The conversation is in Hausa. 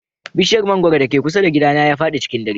Bishiyar mangwaro da ke kusa da gidana ya fadi cikin dare.